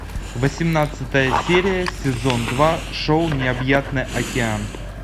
восемнадцатая серия сезон два шоу необъятный океан